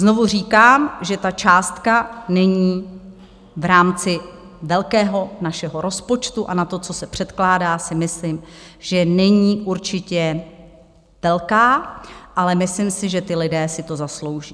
Znovu říkám, že ta částka není v rámci velkého našeho rozpočtu a na to, co se předkládá, si myslím, že není určitě velká, ale myslím si, že ti lidé si to zaslouží.